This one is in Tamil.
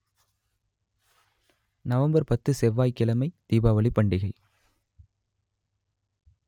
நவம்பர் பத்து செவ்வாய் கிழமை தீபாவளி பண்டிகை